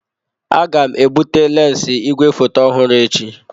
Aga m ebute lensi igwefoto ọhụrụ echi.